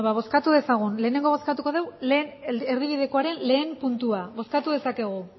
bueno ba bozkatu dezagun lehenengo bozkatuko dugu lehen erdibidekoaren lehen puntua bozkatu dezakegu